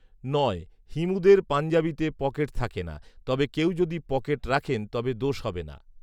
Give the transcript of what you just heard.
ঌ৷ হিমুদের পাঞ্জাবিতে পকেট থাকে না৷ তবে কেউ যদি পকেট রাখেন তবে দোষ হবে না৷